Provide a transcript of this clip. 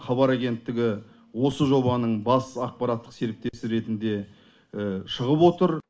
хабар агенттігі осы жобаның бас ақпараттық серіктесі ретінде шығып отыр